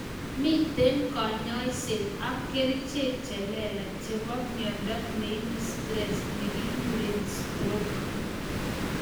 Miten konyoiset ak kerichek che lelach chebo myondo neibu stress nekikuren stroke